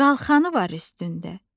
Qalxanı var üstündə.